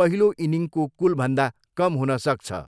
पहिलो इनिङको कुलभन्दा कम हुन सक्छ।